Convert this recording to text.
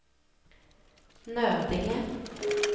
Nödinge